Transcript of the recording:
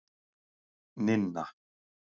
Ninna